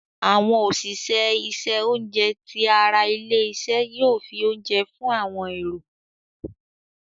Àwọn òṣìṣẹ́ isẹ oúnjẹ tí àrà ilé-isé yóò fí oúnjẹ fún àwọn èrò.